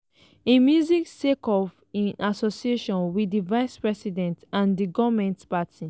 im music sake of im association wit di vice president and di goment party.